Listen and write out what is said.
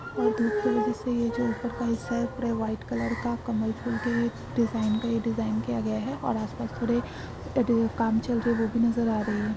पुरे white colour का कमाल फूल डिझाईन का डिझाईन किया गया है और आसपास थोडे काम चल रहा है। वो भी नजर आ रहा है।